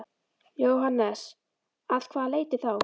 Jóhannes: Að hvaða leyti þá?